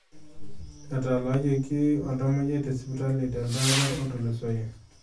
Etaalayioki oltamoyiai te sipitali teldaapa otulusoyie.